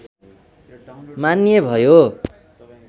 मान्य भयो